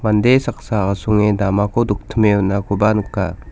mande saksa asonge damako doktime on·akoba nika.